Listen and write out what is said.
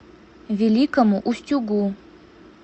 великому устюгу